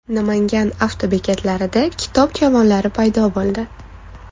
Namangan avtobekatlarida kitob javonlari paydo bo‘ldi.